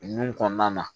Nun kɔnɔna na